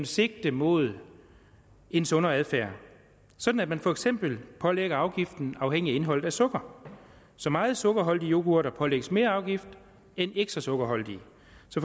sigte mod en sundere adfærd sådan at man for eksempel pålægger afgiften afhængig af indholdet af sukker så meget sukkerholdige yoghurter pålægges mere afgift end ikke så sukkerholdige